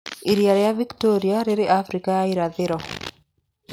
Iria rĩa Victoria rĩrĩ Afrika ya Irathĩro.